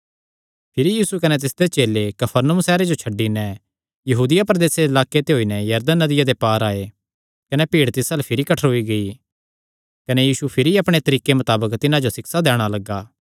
भिरी यीशु कने तिसदे चेले कफरनहूम सैहरे जो छड्डी नैं यहूदिया प्रदेसे दे लाक्के ते होई नैं यरदन नदिया दे पार आये कने भीड़ तिस अल्ल भिरी कठ्ठरोई गेई कने यीशु भिरी अपणे तरीके मताबक तिन्हां जो सिक्षा दैणा लग्गा